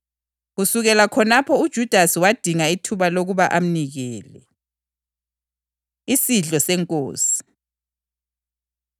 Kusukela khonapho uJudasi wadinga ithuba lokuba amnikele. Isidlo SeNkosi